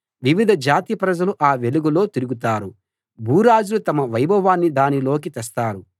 వివిధ జాతి ప్రజలు ఆ వెలుగులో తిరుగుతారు భూరాజులు తమ వైభవాన్ని దానిలోకి తెస్తారు